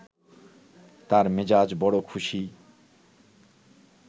তার মেজাজ বড় খুশি